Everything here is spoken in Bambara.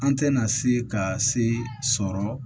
An tɛna se ka se sɔrɔ